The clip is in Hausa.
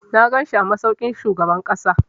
Na ganshi a masaukin shugaban ƙasa.